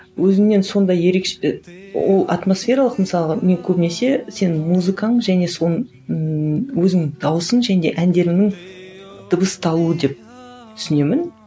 өзіңнен сондай і ол атмосфералық мысалға мен көбінесе сенің музыкаң және ііі өзің дауысың жөнінде әндеріңнің дыбысталуы деп түсінемін